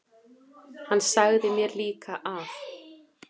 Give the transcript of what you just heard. Hann sagði mér líka að